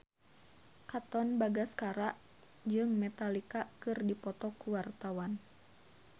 Katon Bagaskara jeung Metallica keur dipoto ku wartawan